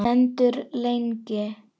Stendur lengi.